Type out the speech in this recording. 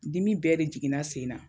Dimi bɛɛ de jiginna sen na